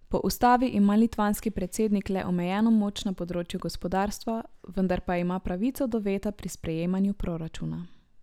Po ustavi ima litvanski predsednik le omejeno moč na področju gospodarstva, vendar pa ima pravico do veta pri sprejemanju proračuna.